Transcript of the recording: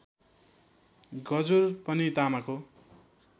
गजुर पनि तामाको